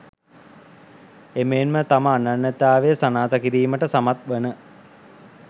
එමෙන්ම තම අනන්‍යතාවය සනාථ කිරීමට සමත්වන